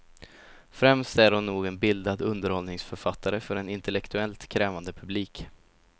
Främst är hon nog en bildad underhållningsförfattare för en intellektuellt krävande publik.